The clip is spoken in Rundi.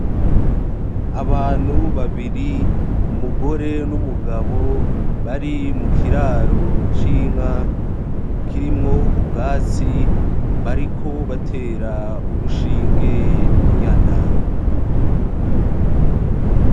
Abantu babiri umugore n'umugabo bari mu kiraro c'inka kirimwo ubwatsi, bariko batera urushinge inyana.